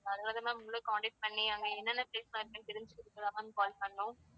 அதனாலதான் ma'am உங்களை contact பண்ணி அங்க என்னென்ன place எல்லாம் இருக்குன்னு தெரிஞ்சுக்கிறதுக்காகத் தான் ma'amcall பண்ணோம்.